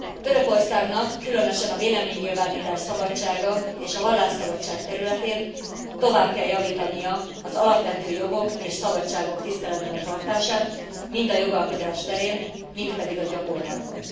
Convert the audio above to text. Törökországnak, különösen a véleménynyilvánítás szabadsága és a vallásszabadság területén tovább kell javítania az alapvető jogok és szabadságok tiszteletben tartásán, mind a jogalkotás terén, mind pedig a gyakorlatban.